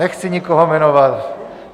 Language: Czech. Nechci nikoho jmenovat.